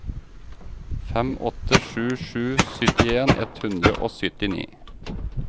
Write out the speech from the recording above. fem åtte sju sju syttien ett hundre og syttini